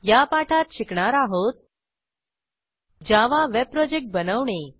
या पाठात शिकणार आहोत जावा वेब प्रोजेक्ट बनवणे